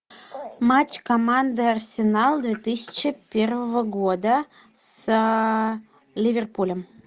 матч команды арсенал две тысячи первого года с ливерпулем